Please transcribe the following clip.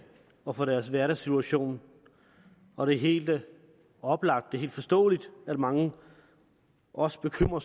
og for deres hverdagssituation og det er helt oplagt det er helt forståeligt at mange også bekymrer